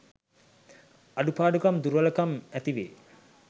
අඩුපාඩුකම් දුර්වලකම් ඇතිවේ.